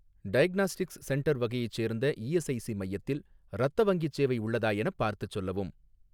Diagnostics centre வகையைச் சேர்ந்த ESIC மையத்தில் இரத்த வங்கிச் சேவை உள்ளதா எனப் பார்த்துச் சொல்லவும்.